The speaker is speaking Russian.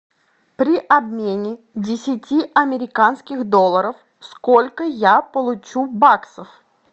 при обмене десяти американских долларов сколько я получу баксов